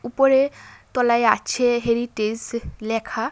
ওপরে তলায় আছে হেরিটেস ল্যাখা ।